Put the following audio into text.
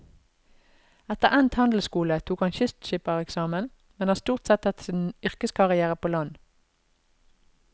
Etter endt handelsskole tok han kystskippereksamen, men har stort sett hatt sin yrkeskarrière på land.